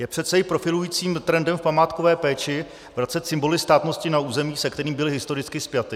Je přece i profilujícím trendem v památkové péči vracet symboly státnosti na území, se kterým byly historicky spjaty.